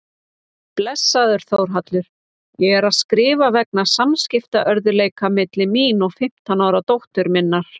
Blessaður Þórhallur, ég er að skrifa vegna samskiptaörðugleika milli mín og fimmtán ára dóttur minnar.